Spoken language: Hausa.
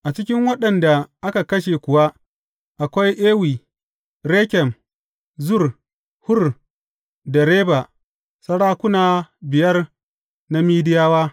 A cikin waɗanda aka kashe kuwa akwai Ewi, Rekem, Zur, Hur da Reba; sarakuna biyar na Mediyawa.